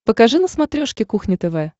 покажи на смотрешке кухня тв